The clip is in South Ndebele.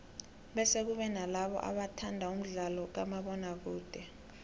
bese kube nalabo abathanda umdlalo kamabona kude